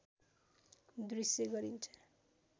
दृश्य गरिन्छ